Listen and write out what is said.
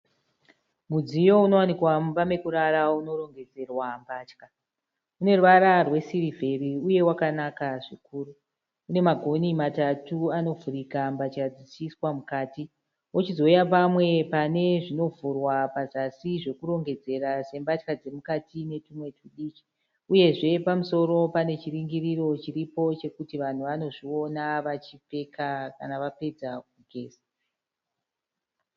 Mudziyo unowanikwa mumba yekurara unorongedzerwa mbatya une ruvara rwesirivheri uye wakanaka zvikuru. Une magoni matatu anovhurika mbatya dzichiiswa mukati .Kochizouya pamwe panovhurwa pazasi pekurongedzera zvakaitika sembatya dzemukati uyezve pamusoro panechiringiro chiripo chekuti vanhu vanozviona vachinge vapedza kugeza.